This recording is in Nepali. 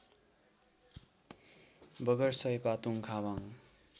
बगर सयपातुङ खावाङ